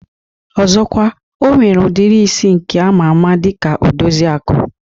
Ọzọkwa, O nwere udiri isi nke ama ama dika Odoziaku